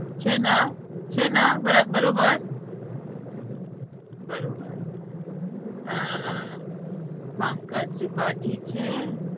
છેના છેના બરા~ બરોબર બરોબર અમ પંકજ ત્રિપાઠી છે.